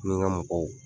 Ni n ka mɔgɔw